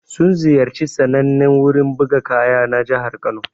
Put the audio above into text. Sun ziyarci sannanen wurin buga kaya na jihar Kano.